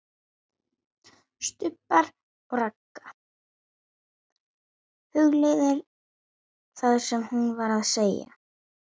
STUBBUR OG RAGGA, hugleiðir það sem hún var að segja.